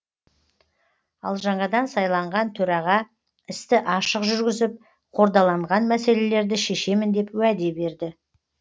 ал жаңадан сайланған төраға істі ашық жүргізіп қордаланған мәселелерді шешемін деп уәде берді